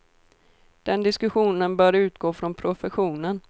Den diskussionen bör utgå från professionen.